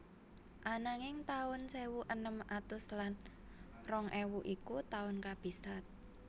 Ananging taun sewu enem atus lan rong ewu iku taun kabisat